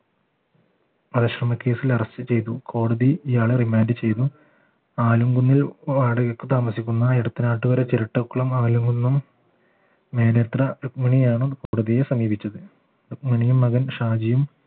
വധശ്രമ കേസിൽ arrest ചെയ്തു കോടതി ഇയാളെ റിമാൻഡ് ചെയ്തു ആലുംകുന്നിൽ വാടകയ്ക്ക് താമസിക്കുന്ന ഇടത്തനാട്ടുകര ചിരട്ടക്കുളം മേലെത്ര രുക്മിണിയാണ് കോടതിയെ സമീപിച്ചത് രുഗ്മിനിയും മകൻ ഷാജിയും